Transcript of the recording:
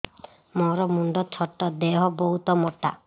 ମୋର ମୁଣ୍ଡ ଛୋଟ ଦେହ ବହୁତ ମୋଟା